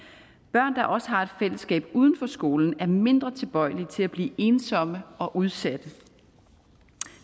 børn der også har et fællesskab uden for skolen er mindre tilbøjelige til at blive ensomme og udsatte